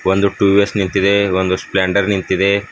ಒಂದು ಟೂವೇಸ್ ನಿಂತಿದೆ ಒಂದು ಸ್ಪ್ಲೆಂಡರ್ ನಿಂತಿದೆ.